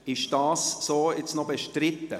Ist dies so noch bestritten?